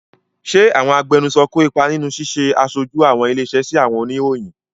Ṣé àwọn agbẹnusọ kó ipa nínú ṣíṣe aṣojú àwọn ilé-iṣẹ́ sí àwọn oníròyìn?